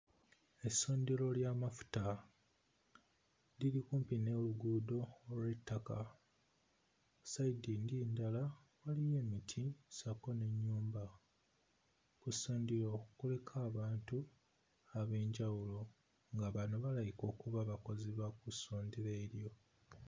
Essundiro ly'amafuta liri kumpi n'oluguudo olw'ettaka, sayidi eri endala waliyo emiti ssaako n'ennyumba ku ssundiro kuliko abantu ab'enjawulo nga bano balabika okuba abakozi ba ku ssundiro eryo.